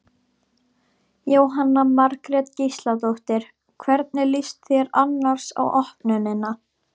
Jóhanna Margrét Gísladóttir: Hvernig líst þér annars á opnunina?